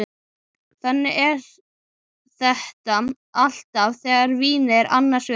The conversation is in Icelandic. Þannig er þetta alltaf þegar vínið er annars vegar.